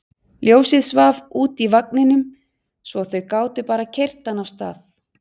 Ljósið svaf úti í vagninum svo þau gátu bara keyrt hann af stað.